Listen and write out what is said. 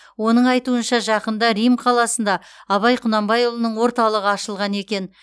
оның айтуынша жақында рим қаласында абай құнанбайұлының орталығы ашылған екен